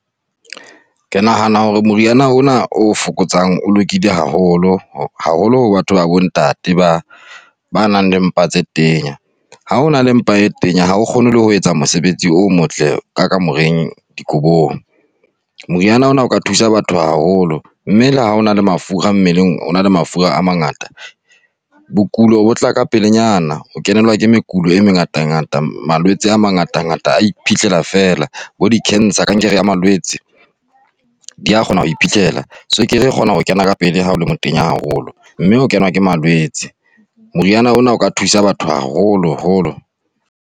Ke nahana hore moriana ona o fokotsang o lokile haholo, haholo ho batho ba bontate ba ba nang le mpa tse tenya. Ha o na le mpa e tenya ha o kgone ho etsa mosebetsi o motle ka kamoreng dikobong. Moriana ona o ka thusa batho haholo mme le ha hona le mafura mmeleng, o na le mafura a mangata, bokulo bo tla ka pelenyana, o kenelwa ke mekulo e mengata ngata, malwetse a mangata ngata a iphitlhela fela, bo di-cancer, kankere ya malwetse, dia kgona ho iphitlhela, tswekere e kgona ho kena ka pele ya ha o le motenya haholo mme o kenwa ke malwetse. Moriana ona o ka thusa batho haholo holo.